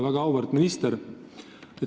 Väga auväärt minister!